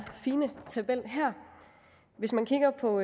fine tabel her hvis man kigger på